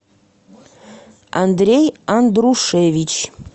андрей андрушевич